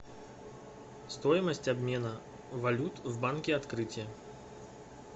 стоимость обмена валют в банке открытие